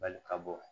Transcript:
Bali ka bɔ